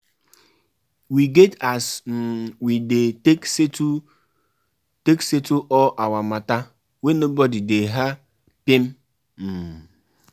Pipo fit dey go shrine go shrine and church; na wetin dem believe.